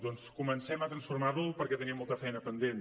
doncs comencem a transformar lo perquè tenim molta feina pendent